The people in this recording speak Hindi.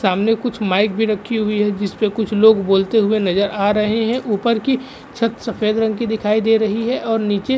सामने कुछ माइक भी रखी हुई है। जिस पे कुछ लोग बोलते हुए नजर आ रहे है। ऊपर की छत सफ़ेद रंग की दिखाई दे रही है और नीचे --